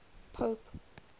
pope